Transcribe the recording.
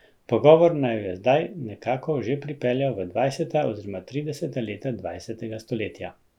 Pogovor naju je zdaj nekako že pripeljal v dvajseta oziroma trideseta leta dvajsetega stoletja.